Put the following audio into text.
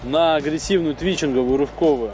на агрессивную твичингову рывковую